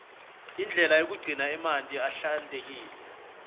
indlela yokugcina amanti ahlantekile